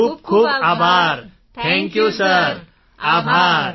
ખૂબ ખૂબ આભાર ઠાંક યુ સિર આભાર